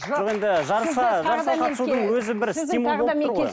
жоқ енді жарысқа жарысқа қатысудың өзі бір стимул болып тұр ғой